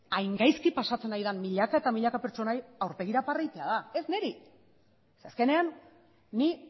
hain gaizki pasatzen ari den milaka eta milaka pertsonari aurpegira barre egitea da ez niri ze azkenean ni